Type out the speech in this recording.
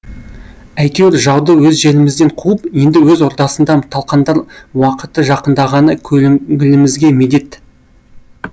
әйтеуір жауды өз жерімізден қуып енді өз ордасында талқандар уақыты жақындағаны көңілімізге медет